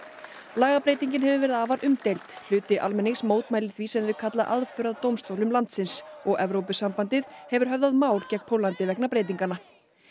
lagabreytingin hefur verið afar umdeild hluti almennings mótmælir því sem þau kalla aðför að dómstólum landsins og Evrópusambandið hefur höfðað mál gegn Póllandi vegna breytinganna